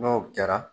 N'o kɛra